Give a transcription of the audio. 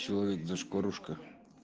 человек дашь порушка